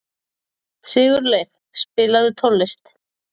Sigurleif, spilaðu tónlist.